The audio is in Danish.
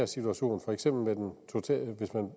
situation